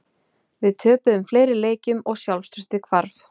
Við töpuðum fleiri leikjum og sjálfstraustið hvarf.